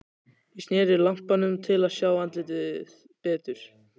Ég sneri lampanum til að sjá andlitið betur.